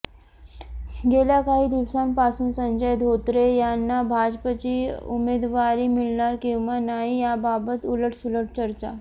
गेल्या काही दिवसांपासून संजय धोत्रे यांना भाजपची उमेदवारी मिळणार किंवा नाही याबाबत उलट सुलट चर्चा